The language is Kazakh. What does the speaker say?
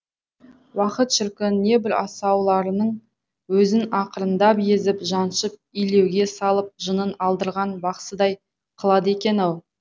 уақыт шіркін небір асауларыңның өзін ақырындап езіп жаншып илеуге салып жынын алдырған бақсыдай қылады екен ау